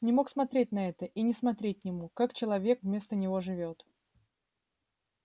не мог смотреть на это и не смотреть не мог как человек вместо него живёт